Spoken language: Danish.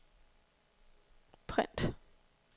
print